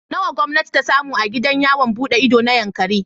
Nawa gwamnati ta samu a gidan yawon buɗe ido na Yankari?